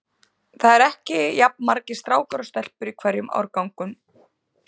Það eru ekki jafn margir strákar og stelpur í hverjum árgangi sagði